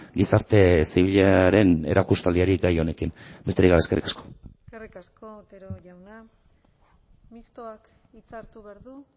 gizarte zibilaren erakustaldiari gai honekin besterik gabe eskerrik asko eskerrik asko otero jauna mistoak hitza hartu behar du